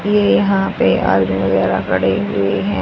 ये यहां पे आदमी वगैरा खड़े हुए हैं।